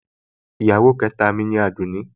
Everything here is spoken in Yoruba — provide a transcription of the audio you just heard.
Ìyàwó ìkẹta mi ni Àdùnní